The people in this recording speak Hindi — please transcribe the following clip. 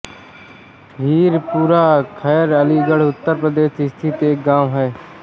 हीरपुरा खैर अलीगढ़ उत्तर प्रदेश स्थित एक गाँव है